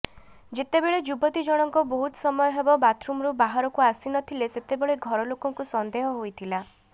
ଯେତେବେଳେ ଯୁବତୀ ଜଣଙ୍କ ବହୁତ ସମୟ ହେବ ବାଥରୁମରୁ ବାହାରକୁ ଆସିନଥିଲେ ସେତେବେଳେ ଘରଲୋକଙ୍କୁ ସନ୍ଦେହ ହୋଇଥିଲା